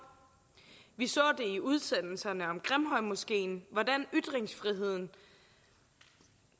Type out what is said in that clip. vi så i udsendelserne om grimhøjmoskeen hvordan ytringsfriheden